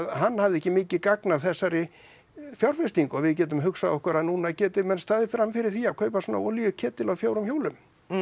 hann hafði ekki mikið gagn af þessari fjárfestingu við getum hugsað okkur að núna geti menn staðið frammi fyrir því að kaupa svona á fjórum hjólum